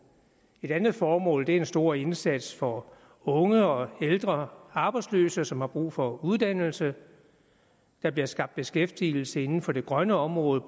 et andet formål er den store indsats for unge og ældre arbejdsløse som har brug for uddannelse der bliver skabt beskæftigelse inden for det grønne område